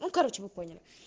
ну короче вы поняли